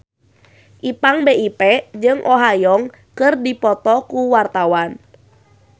Ipank BIP jeung Oh Ha Young keur dipoto ku wartawan